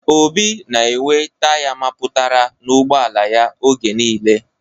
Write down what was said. Obi na enwe taya mapụtara n'ugboala ya oge niile